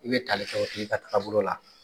I be tali kɛ o tigi ka taabolo la.